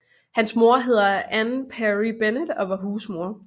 Hans mor hedder Ann Perry Bennett og var husmor